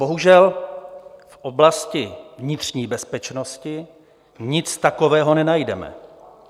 Bohužel, v oblasti vnitřní bezpečnosti nic takového nenajdeme.